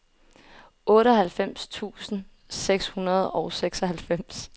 otteoghalvfems tusind seks hundrede og seksoghalvfems